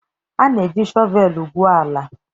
A na-eji shọvel gwuo ala.